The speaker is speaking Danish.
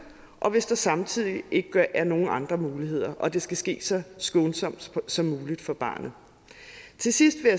og hvis der samtidig ikke er nogen andre muligheder og det skal ske så skånsomt som muligt for barnet til sidst vil